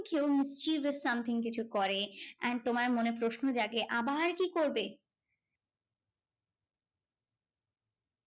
কেউ mysterious something কিছু করে and তোমার মনে প্রশ্ন জাগে, আবার কি করবে?